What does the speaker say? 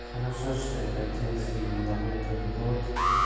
хорошо что я родился именно в этот год